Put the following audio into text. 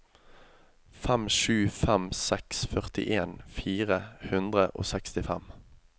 fem sju fem seks førtien fire hundre og sekstifem